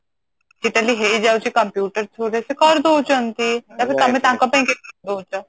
ସେଟା ବି ହେଇଯାଉଛି computer through ରେ ସେ କରି ଦଉଛନ୍ତି ତାଙ୍କ ପାଇଁ